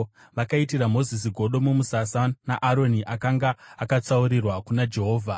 Vakaitira Mozisi godo mumusasa, naAroni, akanga akatsaurirwa kuna Jehovha.